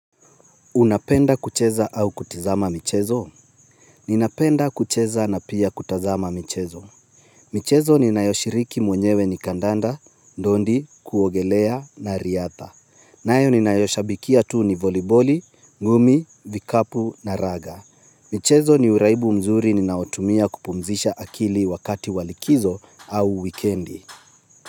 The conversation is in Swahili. Unapenda kucheza au kutizama michezo? Ninapenda kucheza na pia kutazama michezo michezo ninayoshiriki mwenyewe ni kandanda, ndondi, kuogelea na riatha nayo ninayoishabikia tu ni voliboli, ngumi, vikapu na raga michezo ni uraibu mzuri ninaotumia kupumzisha akili wakati wa likizo au wikendi.